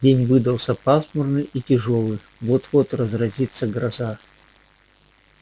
день выдался пасмурный и тяжёлый вот-вот разразится гроза